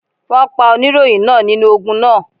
Wọ́n pa oníròyìn náà nínú ogun náà.